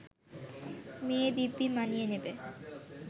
মেয়ে দিব্যি মানিয়ে নেবে